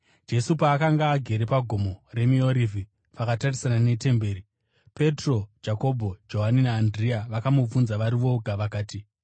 Jesu paakanga agere paGomo reMiorivhi pakatarisana netemberi, Petro, Jakobho, Johani naAndirea vakamubvunza vari voga vakati,